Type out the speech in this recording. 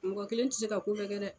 Mɔgɔ kelen tɛ se ka ko bɛɛ kɛ dɛ.